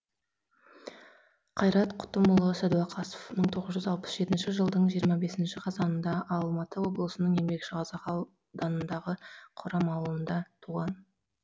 қайрат құтымұлы сәдуақасов мың тоғыз жүз алпыс жетінші жылдың жиырма бесінші қазанында алматы облысының еңбекшіқазақ ауданындағы қорам ауылында туған